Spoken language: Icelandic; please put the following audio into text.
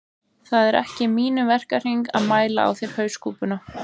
Það er ekki í mínum verkahring að mæla á þér hauskúpuna